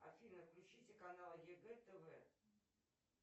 афина включите канал егэ тв